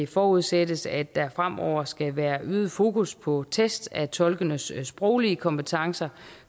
forudsættes at der fremover skal være øget fokus på test af tolkenes sproglige kompetencer